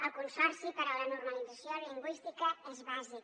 el consorci per a la normalització lingüística és bàsic